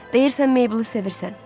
Deyirsən Meyblı sevirsən?